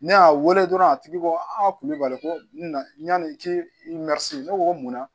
Ne y'a wele dɔrɔn a tigi ko a kulibali ko na yani i k'i ne ko ko munna